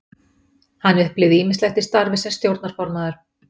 Hann upplifði ýmislegt í starfi sem stjórnarformaður.